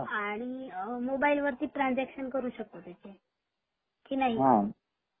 आणि मोबाईल वरती ट्रान्सझ्याकसन करू शकतो का ? कि नाही